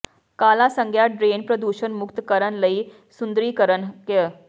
ਕਾਲਾ ਸੰਿਘਆ ਡਰੇਨ ਪ੍ਰਦੂਸ਼ਣ ਮੁਕਤ ਕਰਨ ਲਈ ਸੁੰਦਰੀਕਰਨ ਕ